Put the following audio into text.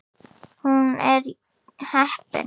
Hún er heppin.